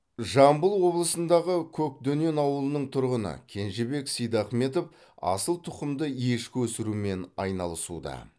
жамбыл облысындағы көкдөнен ауылының тұрғыны кенжебек сейдахметов асыл тұқымды ешкі өсірумен айналысуда